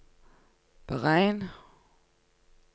beregn